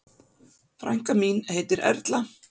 Frænka mín heitir Erla.